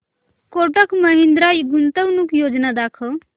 कोटक महिंद्रा गुंतवणूक योजना दाखव